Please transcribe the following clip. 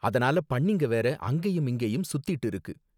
அதனால பன்னிங்க வேற அங்கேயும் இங்கேயும் சுத்திட்டு இருக்கு.